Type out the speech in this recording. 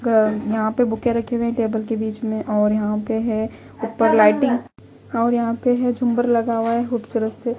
यहाँ पे बुके रखे हुए हैंटेबल के बीच में और यहाँ पे है ऊपर लाइटिंग और यहाँ पे है झुंबर लगा हुआ है खूबसूरत से--